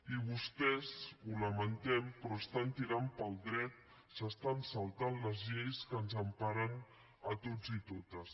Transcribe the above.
i vostès ho lamentem però estan tirant pel dret s’estan saltant les lleis que ens emparen a tots i totes